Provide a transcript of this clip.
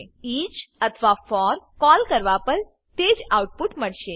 each અથવા forકોલ કરવા પર તેજ આઉટ પુટ મળશે